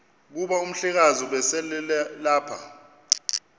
kuba umhlekazi ubeselelapha